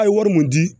A' ye wari mun di